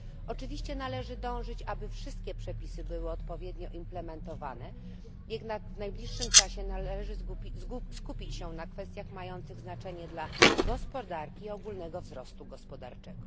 Oczywiście należy dążyć do tego, by wszystkie przepisy były odpowiednio implementowane, jednak w najbliższym czasie należy skupić się na kwestiach mających znaczenie dla gospodarki i ogólnego wzrostu gospodarczego.